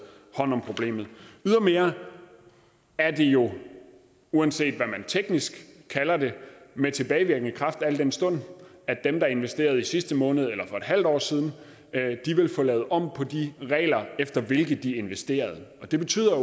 hånd om problemet ydermere er det jo uanset hvad man teknisk kalder det med tilbagevirkende kraft al den stund at dem der investerede i sidste måned eller for et halvt år siden vil få lavet om på de regler efter hvilke de investerede det betyder